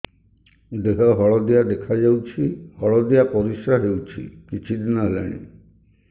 ଦେହ ହଳଦିଆ ଦେଖାଯାଉଛି ହଳଦିଆ ପରିଶ୍ରା ହେଉଛି କିଛିଦିନ ହେଲାଣି